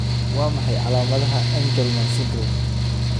Waa maxay calaamadaha iyo calaamadaha Angelman syndrome?